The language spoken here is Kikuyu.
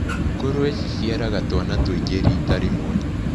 Ngũrũwe ciciaraga twana tũingĩ rita rĩmwe.